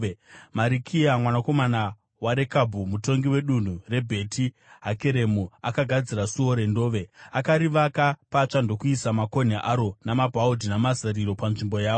Marikiya mwanakomana waRekabhi, mutongi wedunhu reBheti Hakeremu, akagadzira Suo reNdove. Akarivaka patsva ndokuisa makonhi aro namabhaudhi namazariro panzvimbo yawo.